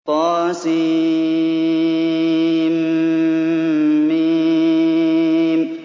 طسم